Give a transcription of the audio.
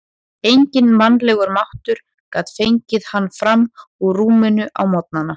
Enginn mannlegur máttur gat fengið hann fram úr rúminu á morgnana.